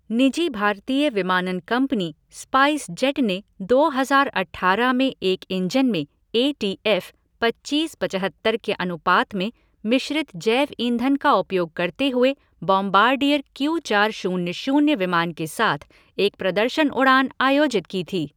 निजी भारतीय विमानन कंपनी स्पाइस जेट ने दो हजार अठारह में एक इंजन में ए टी एफ़ पच्चीस पचहत्तर के अनुपात में मिश्रित जैव ईंधन का उपयोग करते हुए बॉमबार्डियर क्यू चार शून्य शून्य विमान के साथ एक प्रदर्शन उड़ान आयोजित की थी।